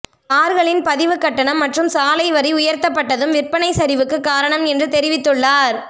கார்களின் பதிவு கட்டணம் மற்றும் சாலை வரி உயர்த்தப்பட்டதும் விற்பனை சரிவுக்கு காரணம் என்று தெரிவித்துள்ளார்